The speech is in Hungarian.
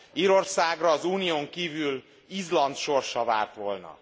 Írországra az Unión kívül Izland sorsa várt volna.